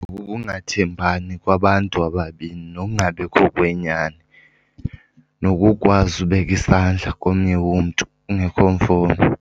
Kukungathembani kwabantu ababini nokungabikho kwenyani, nokukwazi ubeka isandla komnye umntu kungekho mfuno.